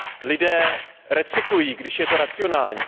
Lidé recyklují, když je to racionální.